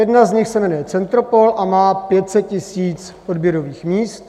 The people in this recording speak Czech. Jedna z nich se jmenuje Centropol a má 500 000 odběrových míst.